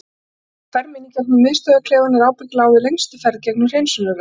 Já og ferð mín í gegnum miðstöðvarklefann er ábyggilega á við lengstu ferð gegnum hreinsunareldinn.